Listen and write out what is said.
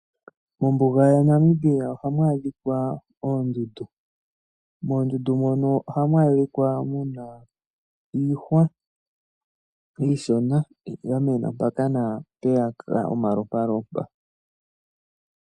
Mombuga yaNamibia ohamu adhika oondundu. Moondundu ohamu adhika muna iihwa iishona yamena mpaka naampeyaka omalompalompa.